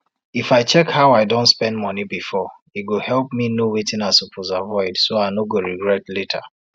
if i check how i don spend money before e go help me know wetin i suppose avoid so i no go regret later